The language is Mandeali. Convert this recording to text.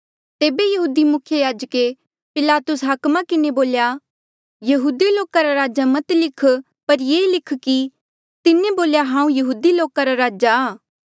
तेबे यहूदी मुख्य याजके पिलातुस हाकमे किन्हें बोल्या यहूदी लोका रा राजा मत लिख पर ये लिख कि तिन्हें बोल्या हांऊँ यहूदी लोका रा राजा आ